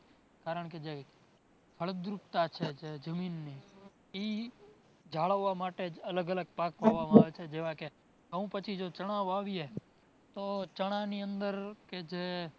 કારણકે જે ફળદ્રુપતા છે જે જમીનની એ જાળવવા માટે જ અલગ અલગ પાક વવાય છે જેવા કે ઘઉં પછી જો ચણા વાવીએ તો ચણાની અંદર કે જે